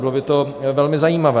Bylo by to velmi zajímavé.